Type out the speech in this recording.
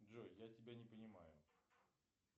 джой я тебя не понимаю